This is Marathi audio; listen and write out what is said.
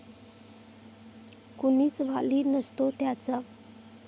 कुणीच वाली नसतो त्याचा.